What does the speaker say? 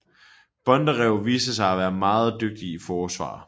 Bondarev viste sig at være meget dygtig i forsvar